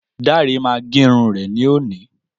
Dáre ma gérun ré ní òní